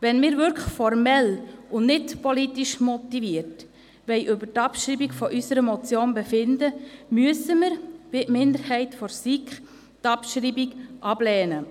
Wenn wir wirklich formell und nicht politisch motiviert über die Abschreibung unserer Motion befinden wollen, müssen wir – wie die Minderheit der SiK – die Abschreibung ablehnen.